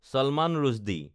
Salman Rushdie